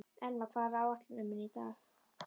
Elmar, hvað er á áætluninni minni í dag?